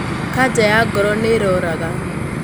kanja ya ngoro nĩĩroraga